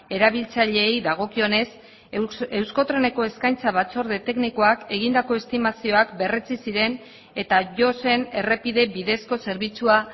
erabiltzaileei dagokionez euskotreneko eskaintza batzorde teknikoak egindako estimazioak berretsi ziren eta jo zen errepide bidezko zerbitzua